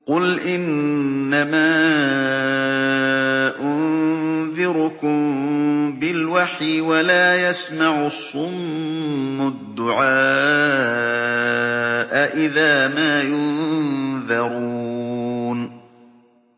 قُلْ إِنَّمَا أُنذِرُكُم بِالْوَحْيِ ۚ وَلَا يَسْمَعُ الصُّمُّ الدُّعَاءَ إِذَا مَا يُنذَرُونَ